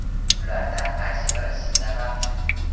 Bulardan qaysi biri sizda mavjud?